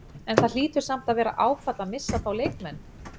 En það hlýtur samt að vera áfall að missa þá leikmenn?